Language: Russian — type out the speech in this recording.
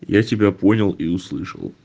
я тебя понял и услышал